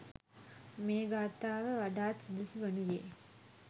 මේ ගාථාව වඩාත් සුදුසු වනුයේ